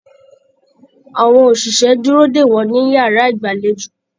Àwọn òṣìṣẹ́ dúró dè wọ́n ní yàrá ìgbàlejò.